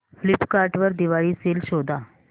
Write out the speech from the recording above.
Flipkart वर Diwali sale शोधा